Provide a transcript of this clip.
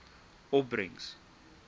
opbrengs